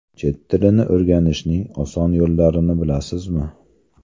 Chet tilini o‘rganishning oson yo‘llarini bilasizmi?.